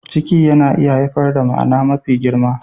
Ciki yana iya haifar da ma'ana mafi girma.